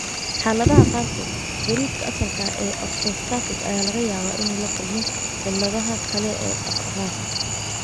Xaaladaha qaarkood, gariirka asalka ah ee orthostatic ayaa laga yaabaa inuu la kulmo cilladaha kale ee dhaqdhaqaaqa.